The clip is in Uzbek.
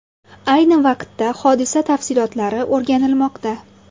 Ayni vaqtda hodisa tafsilotlari o‘rganilmoqda.